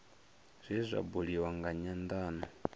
zwe zwa buliwa nga nyandano